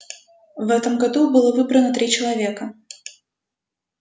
в этом году было выбрано три человека